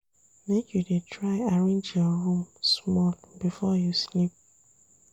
Make you dey try arrange your room small before you sleep.